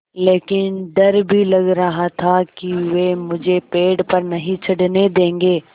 लेकिन डर भी लग रहा था कि वे मुझे पेड़ पर नहीं चढ़ने देंगे